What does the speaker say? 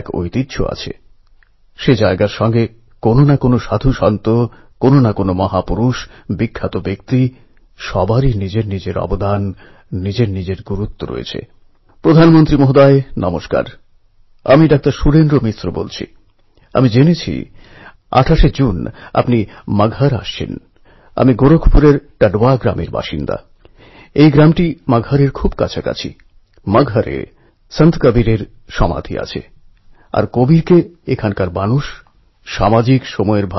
যেমন দিল্লির প্রিন্স কুমার যার বাবা ডিটিসির বাসচালক কিংবা কলকাতার অভয় গুপ্তা যে ফুটপাথে রাস্তার আলোর নীচে বসে পড়াশোনা করেছে এদের মধ্যে আছে আমেদাবাদের মেয়ে আফরীন শেখ যার বাবা অটো চালান আছে নাগপুরের স্কুলবাস চালকের মেয়ে খুশি হরিয়ানার চৌকিদারের ছেলে কার্তিক কিংবা ঝাড়খণ্ডের ইঁটভাঁটার মজদুরের ছেলে রমেশ সাহু